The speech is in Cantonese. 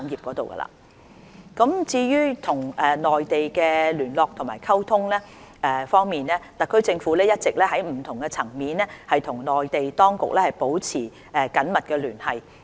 內地聯絡溝通與內地聯絡溝通方面，特區政府一直在不同層面與內地當局保持緊密聯繫。